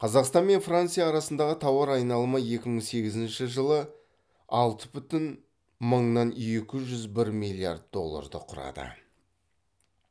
қазақстан мен франция арасындағы тауар айналымы екі мың сегізінші жылы алты бүтін мыңнан екі жүз бір миллиард долларды құрады